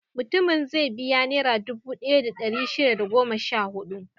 Mutumin zai biya Nera dubu ɗaya da ɗari shida da goma sha huɗu.